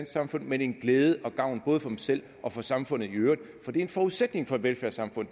samfund men en glæde og gavn både for dem selv og for samfundet i øvrigt for det er en forudsætning for et velfærdssamfund